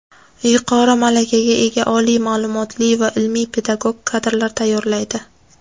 yuqori malakaga ega oliy ma’lumotli va ilmiy-pedagog kadrlar tayyorlaydi.